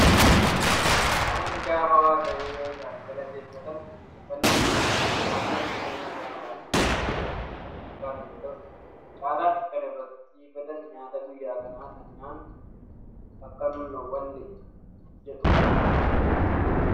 Namoonni gaafa waaqayyo isaanii galateeffatan xiyyeeffannoon isaanii waan nageenyaa nagaan bahanii galuu fi kanneen kana fakkaatu yoo ta'u, caalaatti kan irratti xiyyeeffatan nyaata guyyaa kanaa kan nyaannu akka nun dhowwanne jedhu.